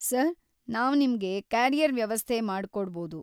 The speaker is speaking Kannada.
ಸರ್‌, ನಾವ್ ನಿಮ್ಗೆ‌ ಕ್ಯಾರಿಯರ್‌ ವ್ಯವಸ್ಥೆ ಮಾಡ್ಕೊಡ್ಬೌದು.